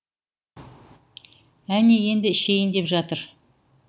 әне енді ішейін деп жатыр